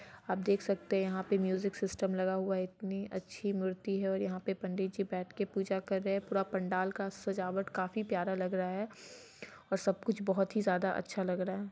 आप देख सकते है यहा पे म्यूजिक सिस्टम लगा हुआ है| इतनी अच्छी मूर्ति है| और यहा पे पंडित जी बेठ के पूजा कर रहै है| पूरे पंडाल का सजावट काफी प्यारा लग रहा है और सब कुछ बोहोत ही ज्यादा अच्छा लग रहा है।